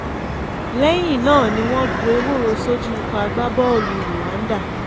lẹ́yìn náà ni wọ́n gbọ́ ewúro sójú ikọ̀ agbábọ́ọ̀lù rwanda